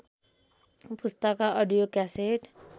पुस्तकका audio cassette